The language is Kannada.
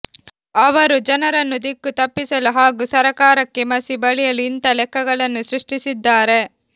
ಅವರು ಜನರನ್ನು ದಿಕ್ಕು ತಪ್ಪಿಸಲು ಹಾಗೂ ಸರಕಾರಕ್ಕೆ ಮಸಿ ಬಳಿಯಲು ಇಂಥ ಲೆಕ್ಕಗಳನ್ನು ಸೃಷ್ಟಿಸಿದ್ದಾರೆ